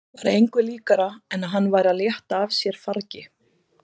Var engu líkara en hann væri að létta af sér fargi.